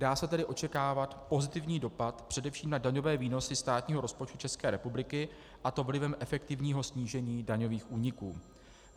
Dá se tedy očekávat pozitivní dopad především na daňové výnosy státního rozpočtu České republiky, a to vlivem efektivního snížení daňových úniků.